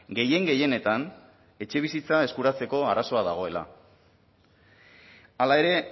gehien gehienetan etxebizitza eskuratzeko arazoa dagoela hala ere